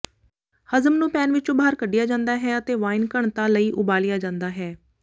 ਹਜ਼ਮ ਨੂੰ ਪੈਨ ਵਿੱਚੋਂ ਬਾਹਰ ਕੱਢਿਆ ਜਾਂਦਾ ਹੈ ਅਤੇ ਵਾਈਨ ਘਣਤਾ ਲਈ ਉਬਾਲਿਆ ਜਾਂਦਾ ਹੈ